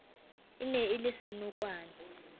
e ne e le senokwane